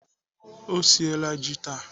Ọ siela ji taa.